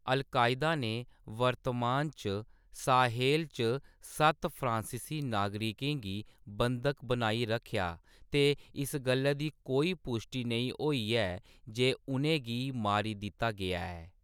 Al Qaeda ने वर्तमान च साहेल च सत्त फ्रांसीसी नागरिकें गी बंधक बनाई रक्खेआ ते इस गल्लै दी कोई पुश्टी नेईं होई ऐ जे उʼनेंगी मारी दित्ता गेआ ऐ।